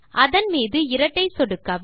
அதன் மீது இரட்டை சொடுக்கவும்